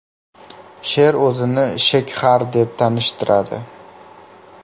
Sher o‘zini Shekxar deb tanishtiradi.